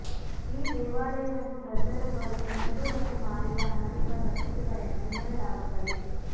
ಈ ದೇವಾಲಯವನ್ನು ವೃದ್ಧರೊಬ್ಬರು ಹುಣಸೆ ಹಣ್ಣು ಮಾರಿದ ಹಣದಿಂದ ಕಟ್ಟಿಸಿದರೆಂದು ಹೇಳಲಾಗುತ್ತದೆ